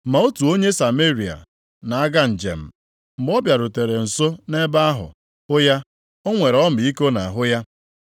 Ma otu onye Sameria na-aga njem, mgbe ọ bịarutere nso nʼebe ahụ; hụ ya, o nwere ọmịiko nʼahụ ya.